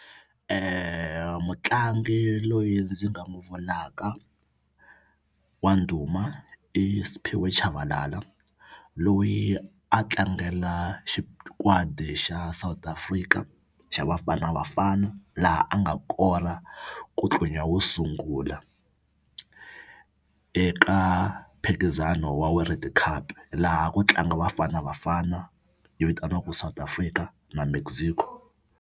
Mutlangi loyi ndzi nga n'wi vulaka wa ndhuma i Simphiwe Tshabalala loyi a tlangela xikwadi xa South Africa xa Bafana Bafana laha a nga kora kutlunya wo sungula eka mphikizano wa world cup laha ku tlanga Bafana Bafana yi vitaniwaka South Africa na Mexico.